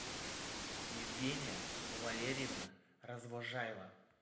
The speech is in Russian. евгения валерьевна развозжаева